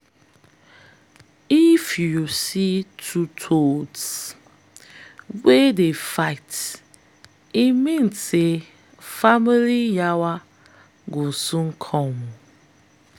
if you see two toads wey dey fight e mean say family yawa go soon come.